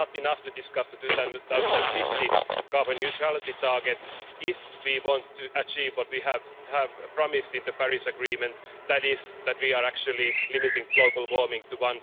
It is not enough to discuss the 2050 carbon neutrality target if we want to achieve what we have promised in the Paris Agreement, that is that we are actually limiting global warming to